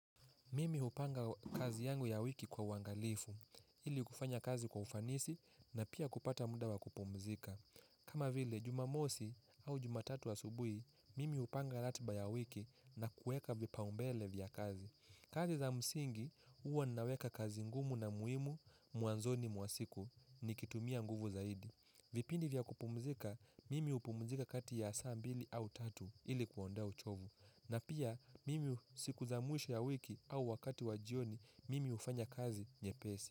Mimi upanga kazi yangu ya wiki kwa uangalifu, ili kufanya kazi kwa ufanisi na pia kupata muda wa kupumzika. Kama vile, jumamosi au jumatatu asubui, mimi upanga latba ya wiki na kueka vipaumbele vya kazi. Kazi za msingi uwa naweka kazi ngumu na muhimu mwanzoni mwasiku ni kitumia nguvu zaidi. Vipindi vya kupumzika, mimi upumzika kati ya saa mbili au tatu ili kuondoa uchovu. Na pia mimi sikuza mwisho ya wiki au wakati wa jioni mimi ufanya kazi nye pesi.